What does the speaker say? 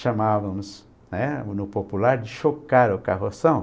chamávamos, né, no popular de chocar o carroção.